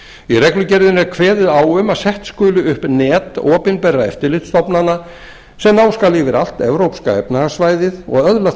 í reglugerðinni er kveðið á um að sett skuli upp net opinberra eftirlitsstofnana sem ná skal yfir allt evrópska efnahagssvæðið og öðlast